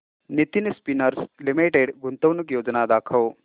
Nitin spinners limited गुंतवणूक योजना दाखव